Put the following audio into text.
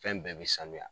Fɛn bɛɛ bɛ sanuya